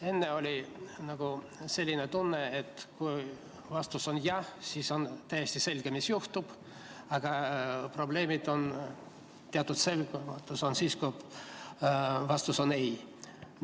Enne oli nagu selline tunne, et kui vastus on jah, siis on täiesti selge, mis juhtub, aga probleemid ja teatud selgusetus on siis, kui vastus on ei.